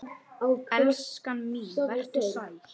Vertu sæl, elskan mín.